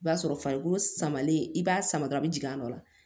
I b'a sɔrɔ farikolo samalen i b'a sama dɔrɔn a bɛ jigin a nɔ la